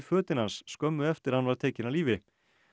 fötin hans skömmu eftir að hann var tekinn af lífi